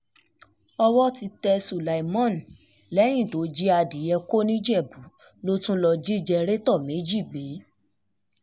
owó um ti tẹ sulaimon lẹ́yìn tó jí adìẹ kó nìjẹ̀bù ló tún lọ́ọ́ um jí jẹ̀rẹ̀tọ̀ méjì gbé